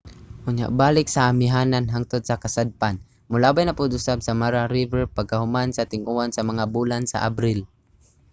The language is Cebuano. unya balik sa amihanan hangtod sa kasadpan molabay na pud usab sa mara river pagkahuman sa ting-uwan sa mga bulan sa abril